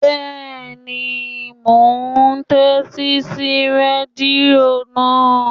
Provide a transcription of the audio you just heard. Bẹ́ẹ̀ni, mò ún tẹ́tí sí rẹ́díò náà